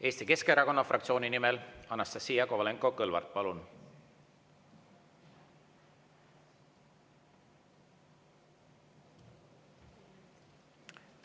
Eesti Keskerakonna fraktsiooni nimel Anastassia Kovalenko-Kõlvart, palun!